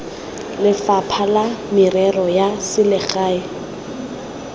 lefapha la merero ya selegae